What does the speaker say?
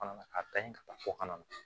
A da ɲi ka taa fo kana na